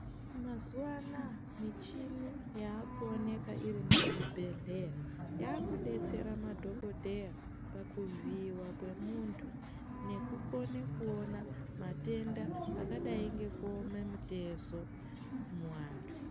Mazuwa anaya muchini yakuoneka irimuzvibhehleya yakudetsera madhokodheya pakuvhiiwa kwemunhu nekukona kuona matenda akadai ngekuoma mutezo muantu.